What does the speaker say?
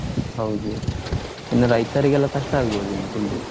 ಹೌದು ಇನ್ನು ರೈತರಿಗೆಲ್ಲಾ ಕಷ್ಟ ಆಗ್ಬೋದಿನ್ನು full .